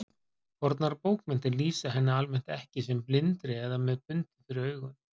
Fornar bókmenntir lýsa henni almennt ekki sem blindri eða með bundið fyrir augun.